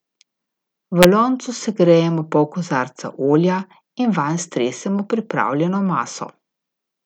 V loncu segrejemo pol kozarca olja in vanj stresemo pripravljeno maso.